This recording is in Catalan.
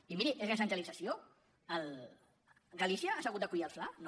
i miri és recentralització galícia s’ha hagut d’acollir al fla no